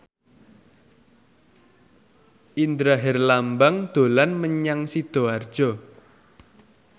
Indra Herlambang dolan menyang Sidoarjo